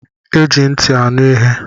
Eji ntị aṅụ ihe.